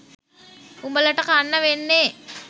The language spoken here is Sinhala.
උඹලට කන්න වෙන්නේ.